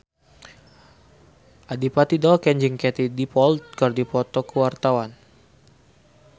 Adipati Dolken jeung Katie Dippold keur dipoto ku wartawan